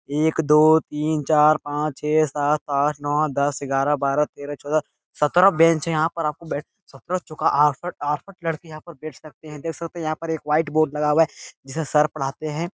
एक दो तीन चार पांच छे सात आठ नौ दस ग्यारह बारह तेरह चौदह सत्रह बेंच हैं यहां पर आपको बैठ सत्रह चौके अड़सठ अड़सठ लड़के यहां पर बैठ सकते हैं देख सकते हैं यहां पर एक व्हाइट बोर्ड लगा हुआ है जिससे सर पढ़ाते हैं।